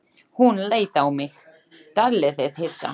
Hún leit á mig, dálítið hissa.